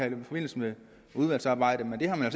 i forbindelse med udvalgsarbejdet men det har man